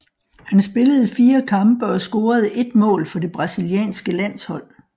Han spillede fire kampe og scorede ét mål for det brasilianske landshold